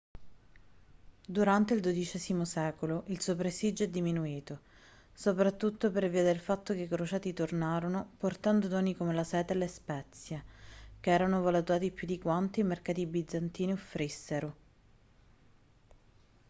durante il dodicesimo secolo il suo prestigio è diminuito soprattutto per via del fatto che i crociati tornarono portando doni come la seta e le spezie che erano valutati più di quanto i mercati bizantini offrissero